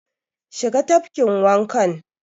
Shiga tafkin wanka!